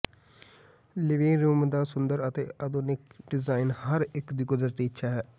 living room ਦਾ ਸੁੰਦਰ ਅਤੇ ਆਧੁਨਿਕ ਡਿਜ਼ਾਈਨ ਹਰ ਇਕ ਦੀ ਕੁਦਰਤੀ ਇੱਛਾ ਹੈ